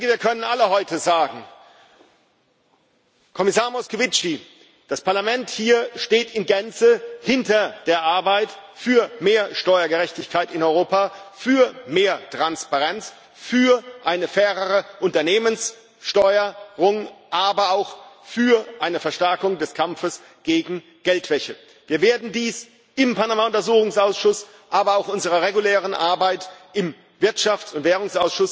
Wir können alle heute sagen Kommissar Moscovici, das Parlament hier steht in Gänze hinter der Arbeit für mehr Steuergerechtigkeit in Europa, für mehr Transparenz, für eine fairere Unternehmensbesteuerung, aber auch für eine Verstärkung des Kampfes gegen Geldwäsche. Wir werden dies im Panama Untersuchungsausschuss, aber auch bei unserer regulären Arbeit im Ausschuss für Wirtschaft und Währung